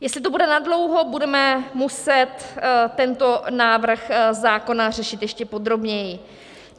Jestli to bude nadlouho, budeme muset tento návrh zákona řešit ještě podrobněji.